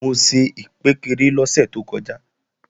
Mo ṣe ìkpékeré lọ́sẹ̀ tó kọjá